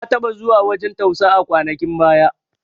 Na taɓa zuwa wajan tausa a kwanakin baya